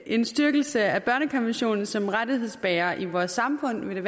en styrkelse af børnekonventionen som rettighedsbærer i vort samfund